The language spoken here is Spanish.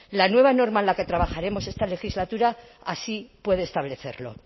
la nueva norma en la que trabajaremos esta legislatura así puede establecerlo